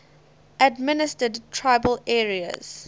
administered tribal areas